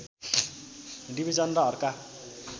division र अर्का